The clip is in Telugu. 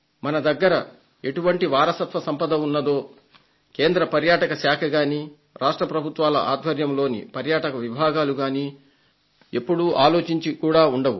మన దగ్గర ఎటువంటి వారసత్వ సంపద ఉన్నదో కేంద్ర పర్యాటక శాఖ గానీ రాష్ట్ర ప్రభుత్వాల ఆధ్వర్యంలోని పర్యాటక విభాగాలు గానీ ఎప్పుడూ ఆలోచించి కూడా ఉండవు